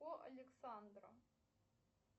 по александра